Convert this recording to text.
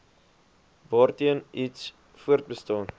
waarteen iets voortbestaan